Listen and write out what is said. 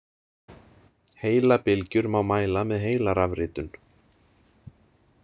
Heilabylgjur má mæla með heilarafritun.